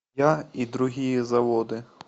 я и другие заводы